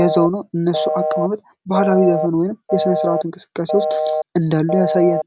ያዘው ነው። የእነሱ አቀማመጥ በባህላዊ ዘፈን ወይም በሥነ-ሥርዓት እንቅስቃሴ ውስጥ እንዳሉ ያሳያል።